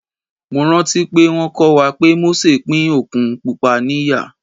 Mo rántí pé wón kọ́ wa pé Mósè pín Òkun Pupa ní ìyà.